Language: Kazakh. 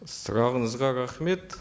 сұрағыңызға рахмет